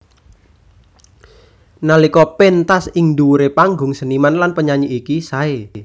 Nalika péntas ing dhuwuré panggung seniman lan penyanyi iki saé